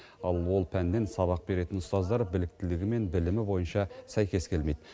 ал ол пәннен сабақ беретін ұстаздар біліктілігі мен білімі бойынша сәйкес келмейді